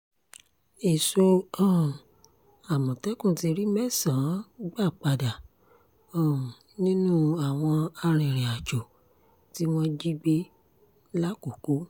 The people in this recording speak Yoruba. èso um àmọ̀tẹ́kùn ti rí mẹ́sàn-án gbà padà um nínú àwọn arìnrìn-àjò tí wọ́n jí gbé làkoko